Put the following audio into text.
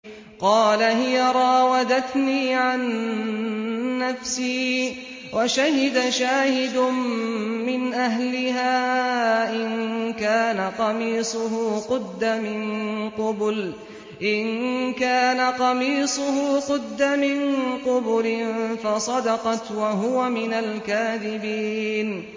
قَالَ هِيَ رَاوَدَتْنِي عَن نَّفْسِي ۚ وَشَهِدَ شَاهِدٌ مِّنْ أَهْلِهَا إِن كَانَ قَمِيصُهُ قُدَّ مِن قُبُلٍ فَصَدَقَتْ وَهُوَ مِنَ الْكَاذِبِينَ